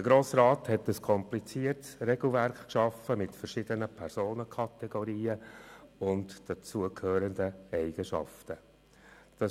Der Grosse Rat hat ein kompliziertes Regelwerk mit verschiedenen Personenkategorien und dazugehörenden Eigenschaften geschaffen.